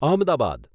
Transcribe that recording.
Ahmedabad